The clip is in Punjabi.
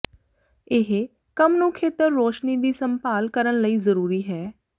ਇਹ ਕੰਮ ਨੂੰ ਖੇਤਰ ਰੋਸ਼ਨੀ ਦੀ ਸੰਭਾਲ ਕਰਨ ਲਈ ਜ਼ਰੂਰੀ ਹੈ